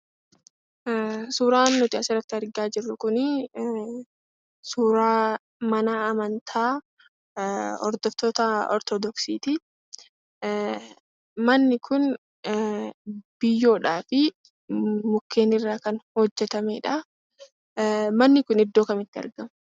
Suuraan nuti asirratti argaa jirru kun, suuraa mana amantaa hordoftoota Ortodoksiitii. Manni kun, biyyoodhaa fi mukkeen irraa kan hojjetamee dha. Manni kun iddoo kamitti argama?